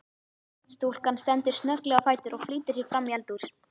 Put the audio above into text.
Stúlkan stendur snögglega á fætur og flýtir sér framí eldhús.